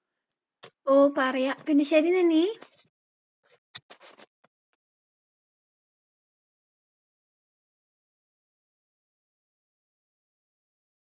ഓ, പറയാം എന്ന ശരി, നന്നി.